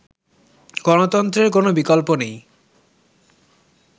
গণতন্ত্রের কোন বিকল্প নেই